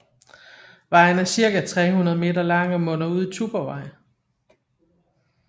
Vejen er cirka 300 meter lang og munder ud i Tuborgvej